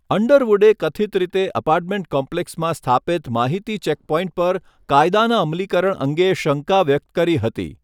અંડરવુડે કથિત રીતે અપાર્ટમેન્ટ કોમ્પ્લેક્સમાં સ્થાપિત માહિતી ચેકપોઇન્ટ પર કાયદાના અમલીકરણ અંગે શંકા વ્યક્ત કરી હતી.